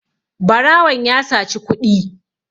barawon ya saci kuɗi